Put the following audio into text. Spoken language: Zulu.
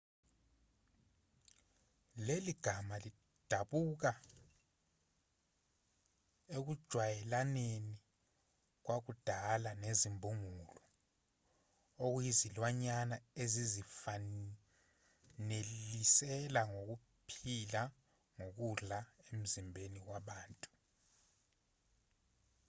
leli gama lidabuka ekujwayelaneni kwakudala nezimbungulu okuyizilwanyana ezizifanelisela ngokuphila ngokudla emzimbeni wabantu